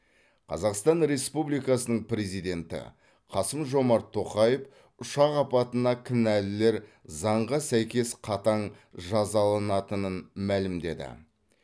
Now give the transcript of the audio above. қазақстан республикасының президенті қасым жомарт тоқаев ұшақ апатына кінәлілер заңға сәйкес қатаң жазаланатынын мәлімдеді